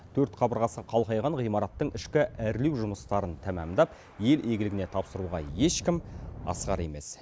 төрт қабырғасы қалқайған ғимараттың ішкі әрлеу жұмыстарын тәмамдап ел игілігіне тапсыруға ешкім асығар емес